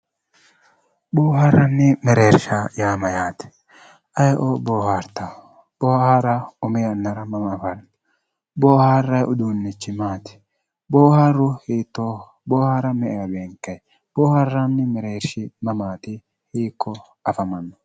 Boohaarranni mereersha yaa mayyate aye"oo boohaartao boohaara umi yannara mamma hanaffu boohaarrayi uduunnichi maati boohaaru hiittooho boohaara me"ewa beenkayi boohaarranni mereedshi hiikkooti mama afamanno